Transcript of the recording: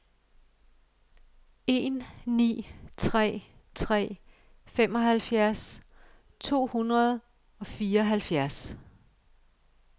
en ni tre tre femoghalvfjerds to hundrede og fireoghalvfjerds